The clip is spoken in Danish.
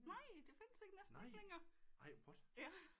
Nej det findes næsten ikke længere